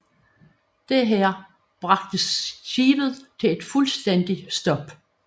Dette bragte skibet til et fuldstændigt stop